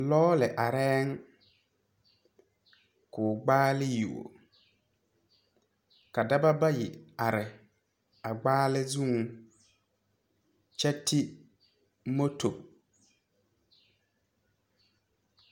Lɔɔre arɛɛŋ koo gbaale yuo ka daɔba bayi are a gbaale zuŋ kyɛ ti moto.